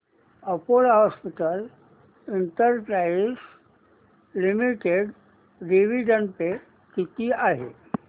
Apollo hospitals enterprise limited dividend pay किती आहे